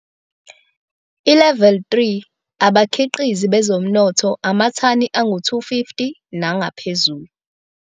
ILeveli 3 - abakhiqizi bezomnotho - amathani angu-250 nangaphezulu